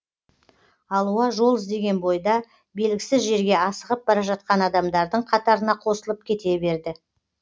алуа жол іздеген бойда белгісіз жерге асығып бара жатқан адамдардың қатарына қосылып кете берді